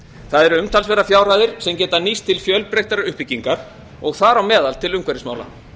það eru umtalsverðar fjárhæðir sem geta nýst til fjölbreyttari uppbyggingar og þar á meðal til umhverfismála